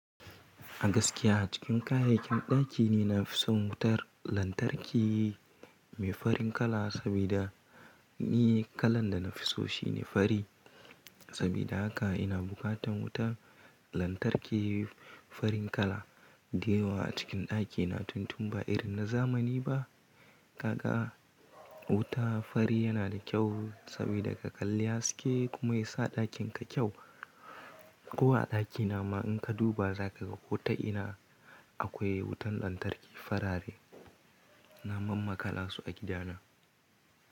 A gaskiya a cikin kayayyakin ɗakina na fi son wutar lantarki mai farin kala saboda ni kalan da na fi so shi ne fari. Saboda haka ina bukatan wutar lantarki farin kala. Diya wa a cikin ɗakina tuntun ba irin na zamani ba. Kaka wuta fari yana da kyau saboda ka kalli haske kuma ya sa ɗakinka kyau. Kowa a ɗakina ma in ka duba zaka ga ko ta ina akwai wutan lantarki farare. Na mam ma kala su a gidana.